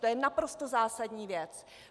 To je naprosto zásadní věc.